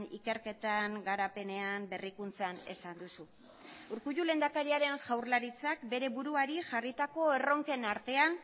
ikerketan garapenean berrikuntzan esan duzu urkullu lehendakariaren jaurlaritzak bere buruari jarritako erronken artean